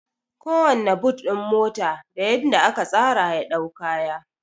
Kowanna but ɗin mota da yadda aka tsara ya dau kaya